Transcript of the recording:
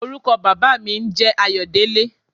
Orúkọ baba mi n jẹ́ Ayodele.